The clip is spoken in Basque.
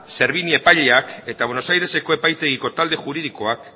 servini epaileak eta buenos aireseko epaitegiko talde juridikoak